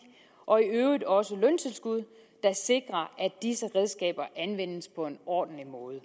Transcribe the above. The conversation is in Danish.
og i øvrigt også løntilskud der sikrer at disse redskaber anvendes på en ordentlig måde